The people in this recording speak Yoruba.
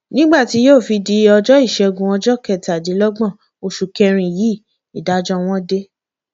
nígbà tí yóò fi di ọjọ ìṣẹgun ọjọ kẹtàdínlọgbọn oṣù kẹrin yìí ìdájọ wọn dé